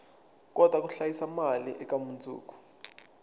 kota ku hlayisa mali eka mundzuku